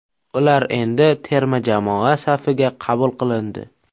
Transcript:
Ular endi terma jamoa safiga qabul qilindi.